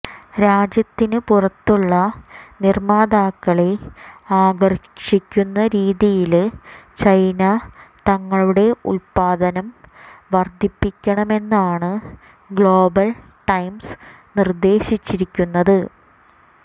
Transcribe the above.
രാജ്യത്തിന് പുറത്തുള്ള നിര്മാതാക്കളെ ആകര്ഷിക്കുന്ന രീതിയില് ചൈന തങ്ങളുടെ ഉല്പ്പാദനം വര്ധിപ്പിക്കണമെന്നാണ് ഗ്ലോബൽ ടൈംസ് നിര്ദേശിച്ചിരിക്കുന്നത്